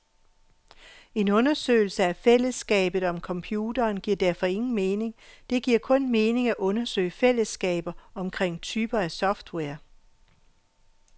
En undersøgelse af fællesskabet om computeren giver derfor ingen mening, det giver kun mening at undersøge fællesskaber omkring typer af software.